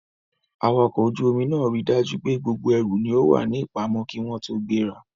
Awakọ̀ ojú omi náà ríi dájú pé gbogbo ẹrù ni ó wà ní ìpamọ́ kí wọ́n tó gbéra.